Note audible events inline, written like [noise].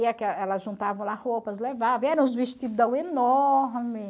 [unintelligible] elas juntavam lá roupas, levavam, eram uns vestidão enorme.